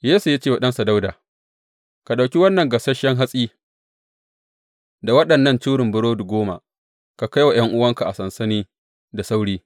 Yesse ya ce wa ɗansa Dawuda, Ka ɗauki wannan gasasshen hatsi da waɗannan curin burodi goma, ka kai wa ’yan’uwanka a sansani da sauri.